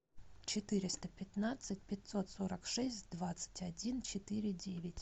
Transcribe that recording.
четыреста пятнадцать пятьсот сорок шесть двадцать один четыре девять